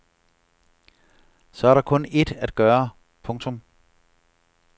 Så er der kun ét at gøre. punktum